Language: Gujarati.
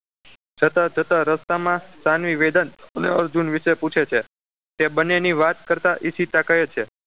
જતા જતા રસ્તામાં સાનવી વેદાંશ અને અર્જુન વિશે પૂછે છે તે બંનેની વાત કરતા ઈશિતા કહે છે